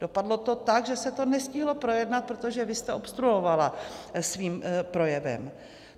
Dopadlo to tak, že se to nestihlo projednat, protože vy jste obstruovala svým projevem.